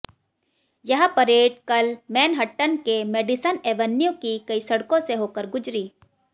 यह परेड कल मैनहट्टन के मेडिसन एवन्यू की कई सड़कों से होकर गुजरी